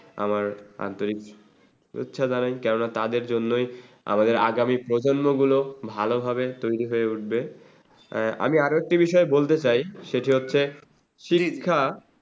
আমার আন্তরিক শুভেচ্ছা জানাই কেননা তাদের জন্যই আমাদের আগামী প্রজন্ম গুলো ভালোভাবে তৈরি হয় উঠবে। আ আমি আরো একটি বিষয় বলতে চাই, সেটি হচ্ছে শিক্ষা